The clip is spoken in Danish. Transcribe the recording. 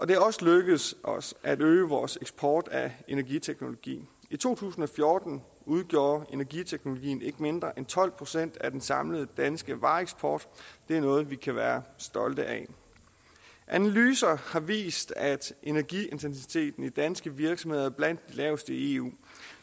det er også lykkedes os at øge vores eksport af energiteknologi i to tusind og fjorten udgjorde energiteknologien ikke mindre end tolv procent af den samlede danske vareeksport det er noget vi kan være stolte af analyser har vist at energiintensiteten i de danske virksomheder er blandt de laveste i eu